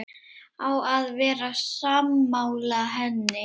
Á að vera sammála henni.